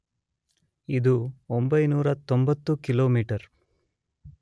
ಇದು 990 ಕಿಲೋಮೀಟರ್